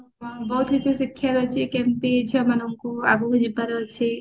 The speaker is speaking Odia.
ହଁ ବହୁତ କିଛି ଶିଖିବା ପାଇଁ ଅଛି କେମତି ଝିଅ ମାନଙ୍କୁ ଆଗକୁ ଯିବାର ଅଛି